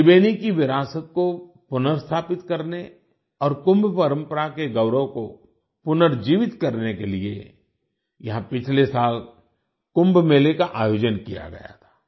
त्रिबेनी की विरासत को पुनर्स्थापित करने और कुंभ परंपरा के गौरव को पुनर्जीवित करने के लिए यहां पिछले साल कुंभ मेले का आयोजन किया गया था